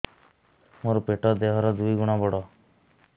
ମୋର ପେଟ ଦେହ ର ଦୁଇ ଗୁଣ ବଡ